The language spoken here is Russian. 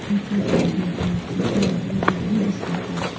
не чувствую тебя полностью не знаю твоего будущего полностью